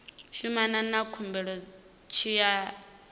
shumana na khumbelo tshi ya